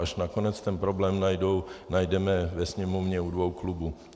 Až nakonec ten problém najdeme ve Sněmovně u dvou klubů.